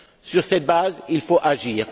Sur cette base, il faut agir.